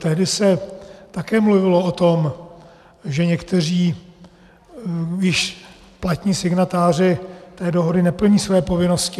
Tehdy se také mluvilo o tom, že někteří již platní signatáři té dohody neplní své povinnosti.